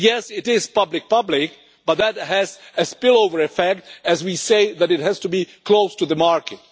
Yes, it is public public, but that has a spillover effect as we say that it has to be close to the market.